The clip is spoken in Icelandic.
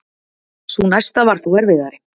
Sú næsta var þó erfiðari.